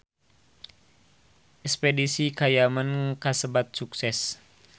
Espedisi ka Yaman kasebat sukses